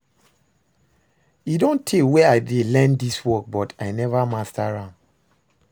E don tey wey I dey learn dis work but I never master am